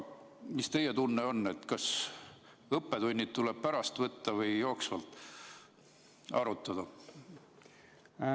Mis teie tunne on, kas õppetunnid tuleks pärast kokku võtta või tuleks neid jooksvalt arutada?